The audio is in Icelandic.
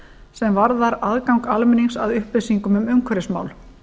sem varðar aðgang almennings að upplýsingum um umhverfismál